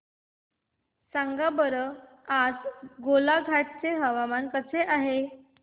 सांगा बरं आज गोलाघाट चे हवामान कसे आहे